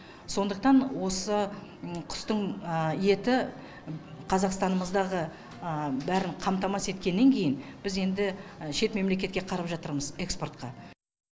сондықтан осы құстың еті қазақстанымыздағы бәрін қамтамасыз еткеннен кейін біз енді шет мемлекетке қарап жатырмыз экспортқа